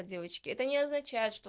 а девочки это не означает что